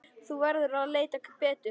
Þú verður að leita betur.